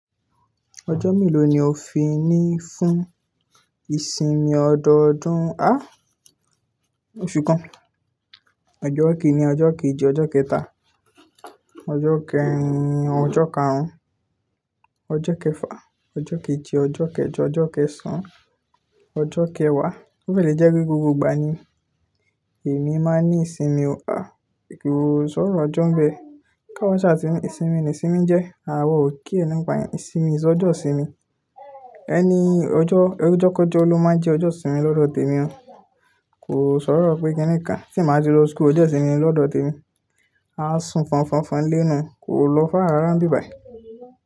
Ọjọ́ mélòó ni o fi ní fún ìsinmi ọdọọdún? Áà! Óṣù kan. Ọjọ́ kinni ọjọ́ kéji ọjọ́ kẹta, ọjọ́ kẹrin, ọjọ́ karùn-ún, ọjọ́ kẹfà, ọjọ́ keje, ọjọ́ kẹjọ, ọjọ́ kẹsàn-án, ọjọ́ kẹwàá. Ó fẹ́ jẹ́ pé gbogbo ìgbà ni èmi máa ní ìsinmi o. À, kò sọ̀rọ̀ ọjọ́ ń bẹ. Ká wa sa ri ni ìsinmi ni ìsinmi jẹ́. Áwa ò care nìpà iyen, since ojo ìsinmi any ọjọ́, ọjọ́kọjo ló máa ń jẹ́ ọjọ́ ìsinmi lọ́dọ̀ tèmi o. Kò sọ̀rọ̀ pé kí nìkan tí n bà ti lọ school, ọjọ́ ìsinmi ni lọ́dọ̀ tèmi. A sùn fọnfọnfọn nlé nuu, kò lọ far ra rá n bí bàì.